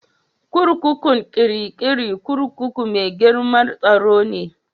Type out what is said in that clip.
Kurkukun Kirikiri kurkuku mai girmar tsaro ne.